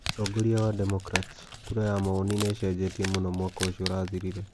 Mũtongoria wa Democrats kura ya maoni nĩ icenjetie mũno mwaka ũcio ũrathirire.